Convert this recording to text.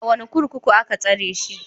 A wane kurkuku aka tsare shi?